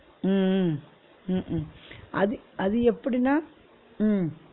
உம் உம் உம் உம் அது அது எப்பிடினா உம்